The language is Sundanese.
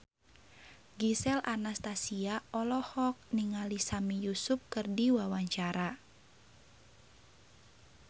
Gisel Anastasia olohok ningali Sami Yusuf keur diwawancara